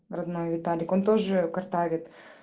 родной виталик он тоже картавит